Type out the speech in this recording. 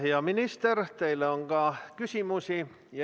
Hea minister, teile on ka küsimusi.